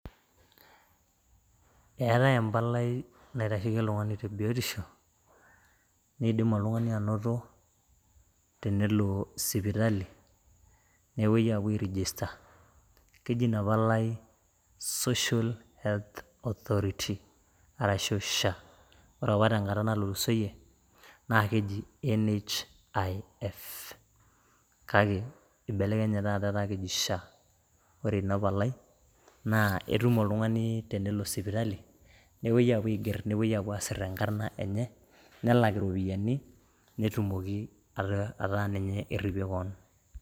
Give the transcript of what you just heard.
Eetae empalai naitasheki oltung'ani te biotisho, nidim oltung'ani anoto tenelo sipitali, nepoi apuo airijista. Keji inapalai Social Health Authority ,arashu SHA. Ore apa tenkata natulusoyie, na keji NHIF. Kake ibelekenyaki taata etaa keji SHA. Ore inapalai, naa etum oltung'ani tenelo sipitali, nepoi apuo aiger, nepoi apuo asir enkarna enye, nelak iropiyiani, netumoki ata ninye erripie keon.